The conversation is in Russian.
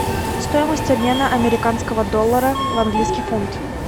стоимость обмена американского доллара в английский фунт